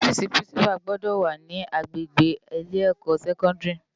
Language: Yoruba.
Òfisi pirinsipá gbòdò wá ni ágbégbé ilé èkò sèkòndári